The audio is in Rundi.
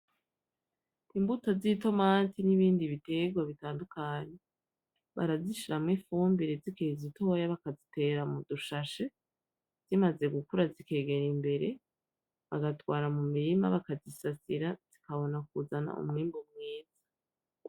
Imbuto z'itomati nibindi biterwa bitandukanye, barazishiramwo ifumbire zikiri zitoya bakazitera mudushashe, zimaze gukura zikegera imbere, bagatwara mumirima bakazisasira zikabona kuzana umwimbu mwiza.